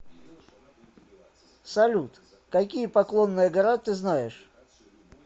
салют какие поклонная гора ты знаешь